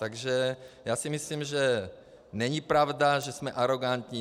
Takže já si myslím, že není pravda, že jsme arogantní.